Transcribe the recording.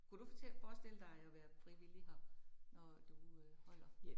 Kunne du få til at forestille dig at være frivillig her, når du øh holder